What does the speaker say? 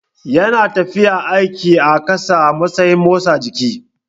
Yana tafiya aiki a ƙasa a matsayin motsa jiki.